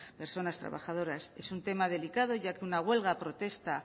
personas trabajadoras es un tema delicado ya que una huelga protesta